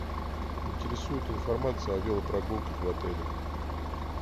интересует информация о велопрогулках в отеле